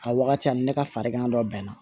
A wagati ani ne ka farigan dɔ bɛn na